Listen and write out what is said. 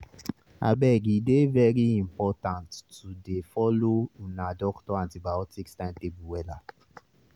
abege dey very important to dey follow una doctor antibiotics timetable wella